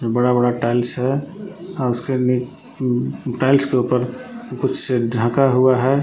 बड़ा बड़ा टाइल्स है आ उसके ने टाइल्स के ऊपर कुछ ढाका हुआ है।